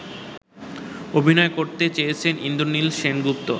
অভিনয় করেছেন ইন্দ্রনীল সেনগুপ্ত